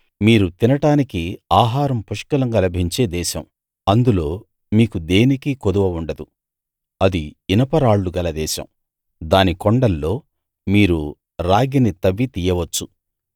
మీరు తినడానికి ఆహారం పుష్కలంగా లభించే దేశం అందులో మీకు దేనికీ కొదువ ఉండదు అది ఇనపరాళ్లు గల దేశం దాని కొండల్లో మీరు రాగిని తవ్వి తీయవచ్చు